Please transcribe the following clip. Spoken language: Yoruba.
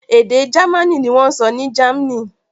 Èdè Jámánì ni wọ́n sọ ní Germany.